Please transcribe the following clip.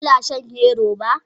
Kana shan hero beer?